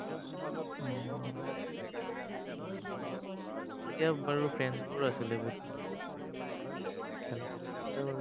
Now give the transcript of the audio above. তেতিয়া বাৰু, friends বোৰ আছিলে, বহুত ভাল একদম। খেলা-চেলাত তেতিয়া বাৰু।